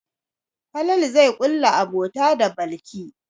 Falalu zai ƙulla abota da Balki.